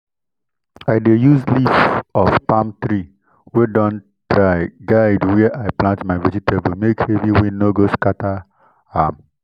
i dey use leaf of palm tree wey don dry guide where i plant my vegetable make heavy wind no go scatter am.